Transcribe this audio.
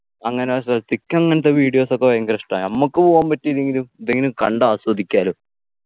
അങ്ങനെയുള്ള സ്ഥലത്തിക്കങ്ങനത്തെ videos ഒക്കെ ഭയങ്കര ഇഷ്ടാ നമ്മക്ക് പോകാൻ പറ്റില്ലെങ്കിലും ഇതെങ്കിലും കണ്ട് ആസ്വദിക്കാലോ